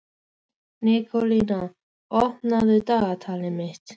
Nikólína, opnaðu dagatalið mitt.